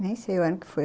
Nem sei o ano que foi.